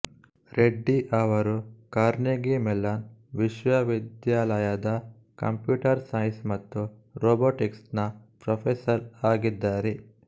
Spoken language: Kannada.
ರೆಡ್ಡಿ ಅವರು ಕಾರ್ನೆಗೀ ಮೆಲ್ಲನ್ ವಿಶ್ವವಿದ್ಯಾಲಯದ ಕಂಪ್ಯೂಟರ್ ಸೈನ್ಸ್ ಮತ್ತು ರೋಬೊಟಿಕ್ಸ್ ನ ಪ್ರೊಫೆಸರ್ ಆಗಿದ್ದಾರೆ